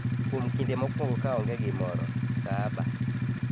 kuom kinde mokwongo ka onge gimoro - Kaaba